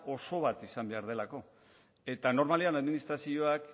oso bat izan behar delako eta normalean administrazioak